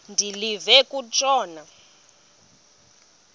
de live kutshona